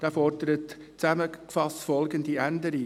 Dieser fordert zusammengefasst folgende Änderung: